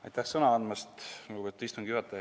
Aitäh sõna andmast, lugupeetud istungi juhataja!